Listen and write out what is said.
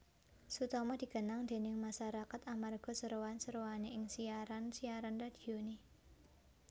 Sutomo dikenang déning masarakat amarga seroan seroané ing siaran siaran radioné